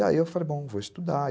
E aí eu falei, bom, vou estudar.